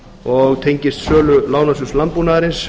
og tengist sölu lánasjóðs landbúnaðarins